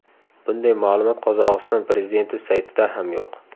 Bunday ma’lumot Qozog‘iston prezidenti saytida ham yo‘q.